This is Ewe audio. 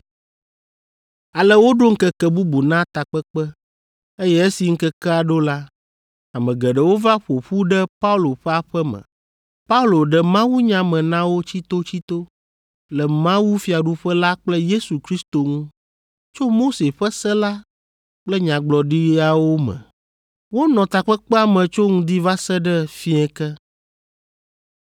Ale woɖo ŋkeke bubu na takpekpe, eye esi ŋkekea ɖo la, ame geɖewo va ƒo ƒu ɖe Paulo ƒe aƒe me. Paulo ɖe mawunya me na wo tsitotsito, le mawufiaɖuƒe la kple Yesu Kristo ŋu, tso Mose ƒe se la kple nyagblɔɖiawo me. Wonɔ takpekpea me tso ŋdi va se ɖe fiẽ ke.